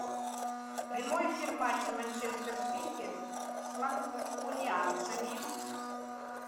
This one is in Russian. прямой эфир матча манчестер сити с манкунианцами